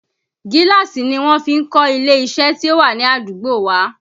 Gíláàsì ni wọ́n fi kọ́ ilé iṣẹ́ tí ó wà ní àdúgbò wa